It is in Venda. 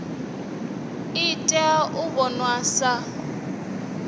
i tea u vhonwa sa